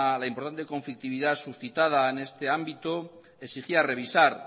la importante conflictividad suscitada en este ámbito exigía revisar